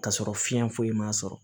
K'a sɔrɔ fiɲɛ foyi ma sɔrɔ